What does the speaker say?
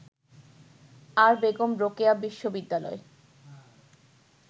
আর বেগম রোকেয়া বিশ্ববিদ্যালয়